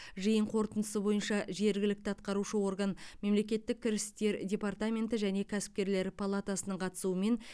жиын қорытындысы бойынша жергілікті атқарушы орган мемлекеттік кірістер департаменті және кәсіпкерлер палатасының қатысуымен